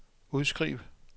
udskriv